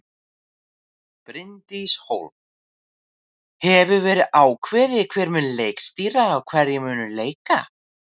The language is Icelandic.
Bryndís Hólm: Hefur verið ákveðið hver mun leikstýra og hverjir munu leika?